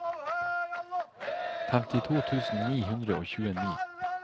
femtito tusen ni hundre og tjueni